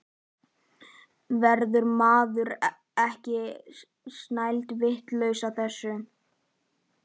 Verður maður ekki snælduvitlaus af þessu?